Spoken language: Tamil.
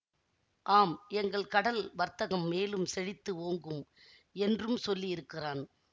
ஆம் எங்கள் கடல் வர்த்தகம் மேலும் செழித்து ஓங்கும் என்றும் சொல்லியிருக்கிறான்